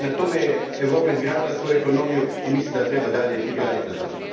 Na tome je Europa izgradila svoju ekonomiju i mislim da je treba i dalje graditi na tome.